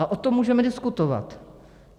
A o tom můžeme diskutovat.